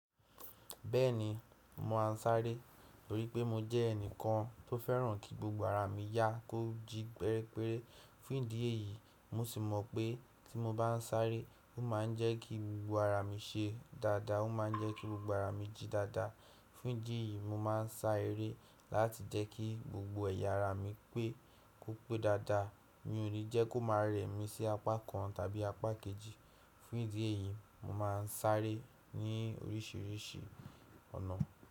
Bẹ́ẹ̀ni, mo máa ń sáré torí pé mo jẹ́ ẹnìkan tó fẹ́ràn kí gbogbo ara mi yá kó jí péréperé. Fún ìdí èyí, mo sì mọ̀ pé tí mo bá ń sáré, ó máa ń jẹ́ kí gbogbo ara mi ṣe dáadáa, ó máa ń jẹ́ kí gbogbo ara mi jí dáadáa. Fún ìdí èyí, mo máa ń sá eré láti jẹ́ kí gbogbo ẹ̀yà ara mi pé kó pé dáadáa, mi ò ní jẹ́ kó máa rẹ̀ mí sí apá kan tàbí apá kejìí. Fún ìdí èyí, mo máa ń sáré ní oríṣiríṣi ọ̀nà.